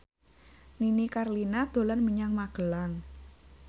Nini Carlina dolan menyang Magelang